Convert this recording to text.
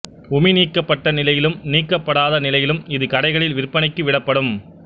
உமி நீக்கப்பட்ட நிலையிலும் நீக்கப்படாத நிலையிலும் இது கடைகளில் விற்பனைக்கு விடப்படும்